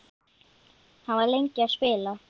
Hann var lengi að spila.